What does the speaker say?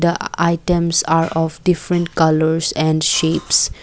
the items are of different colours and shapes.